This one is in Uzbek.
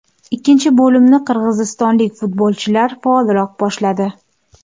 Ikkinchi bo‘limni qirg‘izistonlik futbolchilar faolroq boshladi.